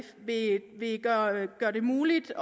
gøre det muligt